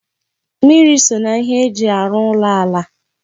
Mmiri so n'ihe eji arụ ụlọ ala